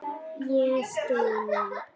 Ég styn.